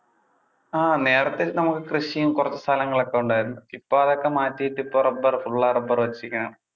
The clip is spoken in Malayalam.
ആ നേരത്തെ നമുക്ക് കൃഷിയും കുറച്ചു സ്ഥലങ്ങൾ ഒക്കെ ഉണ്ടായിരുന്നു. ഇപ്പൊ അതൊക്കെ മാറ്റിട്ട് ഇപ്പൊ റബ്ബറു full ആ റബ്ബറു വെച്ചിരിക്കുവാണ്.